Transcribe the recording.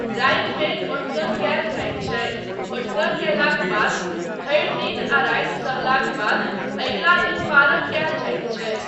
रातिमे ओठगन कयल जाइत छै, ओठगन कयलाक बाद भरि दिन आ राति सहलाक बाद अगिला दिन पारण कायल जाइत छै।